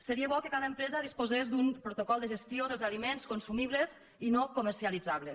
seria bo que cada empresa disposés d’un protocol de gestió dels aliments consumibles i no comercialitzables